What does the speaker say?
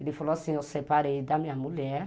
Ele falou assim, eu separei da minha mulher.